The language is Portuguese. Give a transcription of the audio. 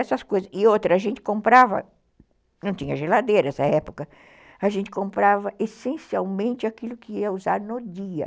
Essas coisas, e outra, a gente comprava, não tinha geladeira nessa época, a gente comprava essencialmente aquilo que ia usar no dia.